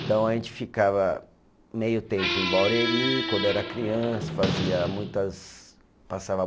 Então, a gente ficava meio tempo em Barueri, quando era criança, fazia muitas, passava